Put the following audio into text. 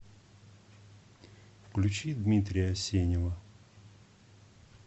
включи дмитрия асенева